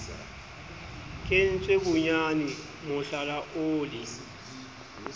kentswe bonyane mohlala o le